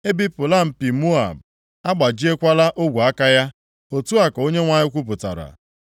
E bipụla mpi + 48:25 Ya bụ, ike Moab, a gbajiekwala ogwe aka ya,” otu a ka Onyenwe anyị kwupụtara.